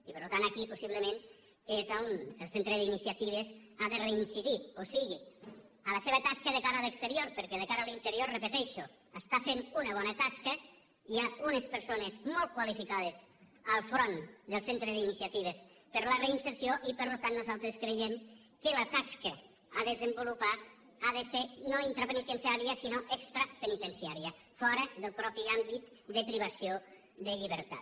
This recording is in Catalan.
i per tant aquí possiblement és on el centre d’iniciatives ha de reincidir o sigui a la seva tasca de cara a l’exterior perquè de cara a l’interior ho repeteixo està fent una bona tasca hi ha unes persones molt qualificades al front del centre d’iniciatives per a la reinserció i per tant nosaltres creiem que la tasca que ha de desenvolupar ha de ser no interpenitenciària sinó extrapenitenciària fora del propi àmbit de privació de llibertat